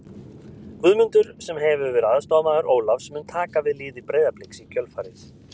Guðmundur, sem hefur verið aðstoðarmaður Ólafs, mun taka við liði Breiðabliks í kjölfarið.